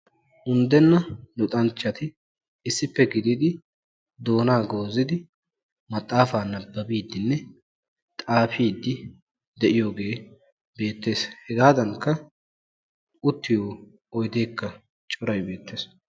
Unddenna luxanchchati issippe gididi doonaa goozidi maxaafa nabbabiiddinne xaafiddi de'iyogee beettees, hegaadankka uttiyo oyddeekka coray beettees.